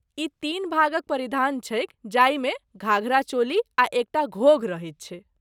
ई तीन भागक परिधान छैक जाहिमे घाघरा, चोली आ एकटा घोघ रहैत छै।